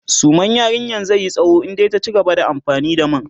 suman yarinyan zaiyi tsawo in dai ta cigaba da amfani da man